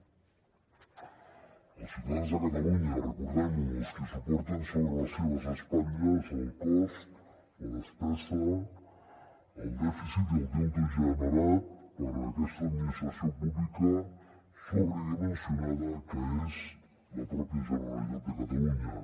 els ciutadans de catalunya recordem ho els qui suporten sobre les seves espatlles el cost la despesa el dèficit i el deute generat per aquesta administració pública sobredimensionada que és la pròpia generalitat de catalunya